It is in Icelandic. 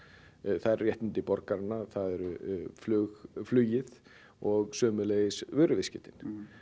það eru réttindi borgaranna það er flugið flugið og sömuleiðis vöruviðskiptin